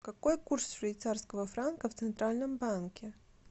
какой курс швейцарского франка в центральном банке